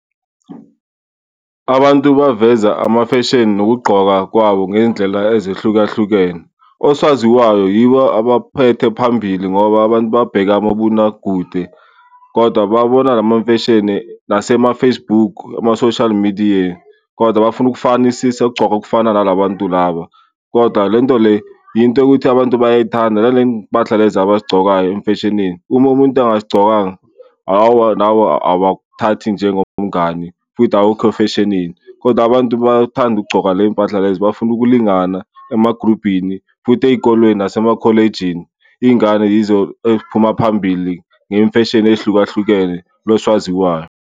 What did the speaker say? Abantu baveza ama-fashion nokugqoka kwabo ngey'ndlela ezahlukahlukene. Osaziwayo yibo abaphethe phambili ngoba abantu babheka amabonakude kodwa babona la mamfeshini nasema-Facebook, ama-social media kodwa bafuna ukufanisisa ukugcoka okufana nala bantu laba. Kodwa le nto le into yokuthi abantu bayay'thanda nale y'mpahla abazigcokayo emfeshinini. Uma umuntu angazigcokanga aowa, nabo abakuthathi njengomngani futhi awukho e-fashion-ini. Kodwa abantu bayathanda ukugcoka ley'mpahla lezi bafuna ukulingana emagrubhini futhi ey'kolweni nasema-college-ini iy'ngane yizo eziphuma phambili ngey'mfeshini ey'hlukahlukene loswaziwayo.